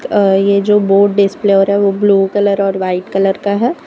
और ये जो बोर्ड डिस्प्ले हो रहा है वो ब्लू कलर और वाइट कलर का है।